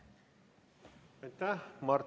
Aitäh!